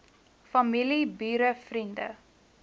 familie bure vriende